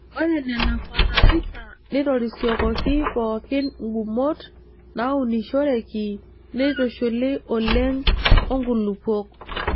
Ore nena fatalaisa neitorisiokoki pookin ngumot naaunishoreki neitushuli oleng o nkulupuok.